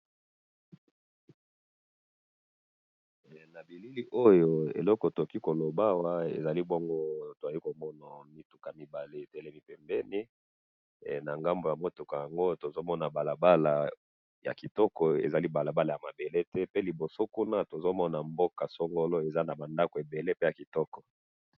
Na moni balabala ya kitoko na pancarte na liboso ba ndako.